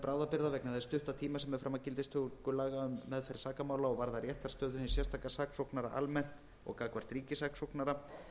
bráðabirgða vegna þess stutta tíma sem er fram að gildistöku laga um meðferð sakamála og varða réttarstöðu hins sérstaka saksóknara almennt og gagnvart ríkissaksóknara